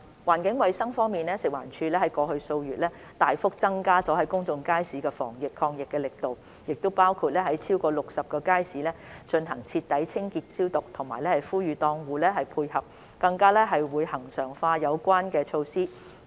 環境衞生方面，食環署在過去數月大幅增加了公眾街市的防疫抗疫力度，包括在超過60個街市進行徹底清潔消毒，並呼籲檔戶配合，更會將有關措施恆常化。